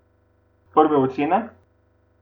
Prve ocene?